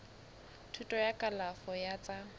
thuto ya kalafo ya tsa